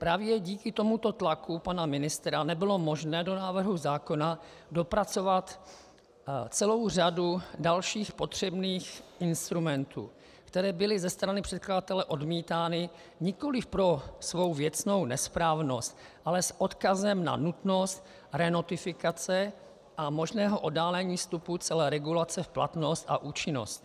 Právě díky tomuto tlaku pana ministra nebylo možné do návrhu zákona dopracovat celou řadu dalších potřebných instrumentů, které byly ze strany předkladatele odmítány nikoliv pro svou věcnou nesprávnost, ale s odkazem na nutnost renotifikace a možného oddálení vstupu celé regulace v platnost a účinnost.